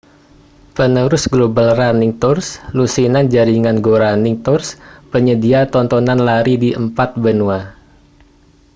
penerus global running tours lusinan jaringan go running tours penyedia tontonan lari di empat benua